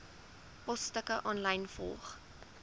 posstukke aanlyn volg